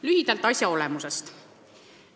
Lühidalt asja olemusest.